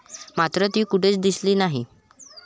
मात्र ती कुठेच दिसली नाही.